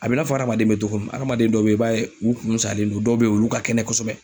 A bɛ i n'a fɔ hadamaden bɛ cogo min na, adamaden dɔw bɛ yen, i b'a ye u kun salen don, dɔw bɛ yen , olu ka kɛnɛ kosɛbɛ.